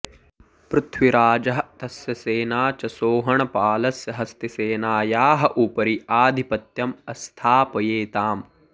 पृथ्वीराजः तस्य सेना च सोहणपालस्य हस्तिसेनायाः उपरि आधिपत्यम् अस्थापयेताम्